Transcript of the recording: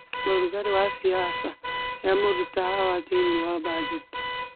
ũrugarĩ wa siasa riamũruta Hawa thĩinĩ wa bajeti